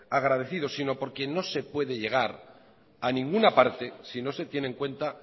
agradecidos sino porque no se puede llegar a ninguna parte si no se tiene en cuenta